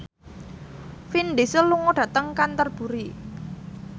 Vin Diesel lunga dhateng Canterbury